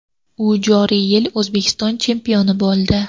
U joriy yil O‘zbekiston chempioni bo‘ldi.